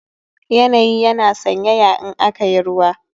Yanayi yana sanyaya in aka yi ruwa